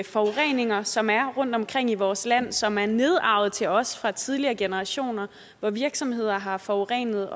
forureninger som er rundt omkring i vores land og som er nedarvet til os fra tidligere generationer hvor virksomheder har forurenet